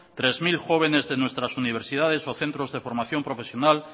tres mil jóvenes de nuestras universidades o de nuestros centros de formación profesional